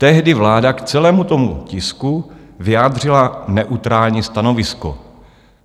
Tehdy vláda k celému tomu tisku vyjádřila neutrální stanovisko.